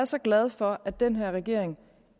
så glad for at den her regering